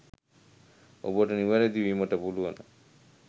ඔබට නිවැරදි වීමට පුළුවන.